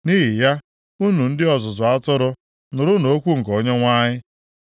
nʼihi ya, unu ndị ọzụzụ atụrụ, nụrụnụ okwu nke Onyenwe anyị: